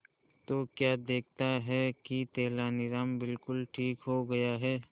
तो क्या देखता है कि तेनालीराम बिल्कुल ठीक हो गया है